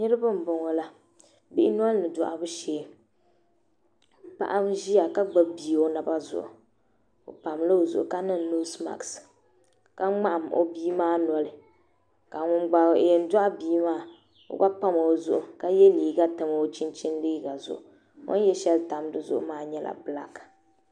Niriba n boŋɔla bihi nolini dohibu shɛɛ paɣaba ʒia ka gbubi bia o naba zuɣu o pam la o zuɣu ka niŋ nosi maki ka mŋahim o bia maa noli ka ŋun gba yɛn dohi bia maa o gba pam o zuɣu ka yɛ leega tam o chinchini leega zuɣu o yɛ shɛli tam di zuɣu maa nyɛla belaaki